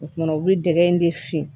O tuma u bɛ dɛgɛ in de fin